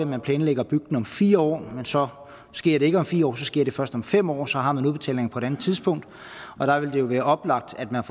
man planlægger at bygge den om fire år men så sker det ikke om fire år så sker det først om fem år og så har man udbetalingen på et andet tidspunkt og der vil det jo være oplagt at man